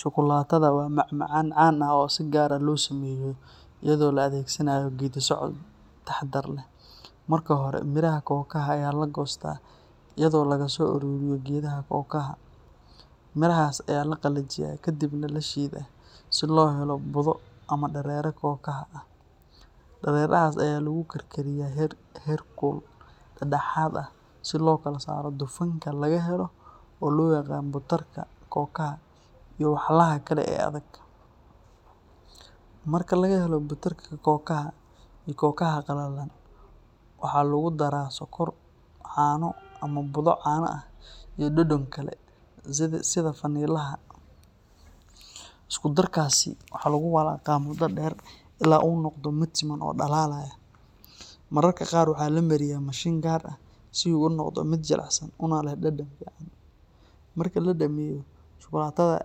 Shukulaatada waa macmacaan caan ah oo si gaar ah loo sameeyo iyadoo la adeegsanayo geeddi-socod taxaddar leh. Marka hore, miraha kookaha ayaa la goostaa iyadoo laga soo ururiyo geedaha kookaha. Mirahaas ayaa la qalajiyaa ka dibna la shiidaa si loo helo budo ama dareere kookaha ah. Dareerahaas ayaa lagu karkariyaa heerkul dhexdhexaad ah si loo kala saaro dufanka laga helo oo loo yaqaan butarka kookaha iyo walxaha kale ee adag. Marka laga helo butarka kookaha iyo kookaha qallalan, waxaa lagu daraa sonkor, caano ama budo caano ah iyo dhadhan kale sida vanilaha. Isku darkaasi waxaa lagu walaaqaa muddo dheer ilaa uu noqdo mid siman oo dhalaalaya. Mararka qaar waxaa la mariyaa mashiin gaar ah si uu u noqdo mid jilicsan una leh dhadhan fiican. Marka la dhammeeyo, shukulaatada